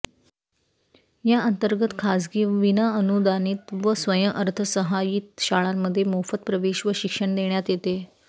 या अंतर्गत खासगी विनाअनुदानित व स्वयंअर्थसहाय्यित शाळांमध्ये मोफत प्रवेश व शिक्षण देण्यात येते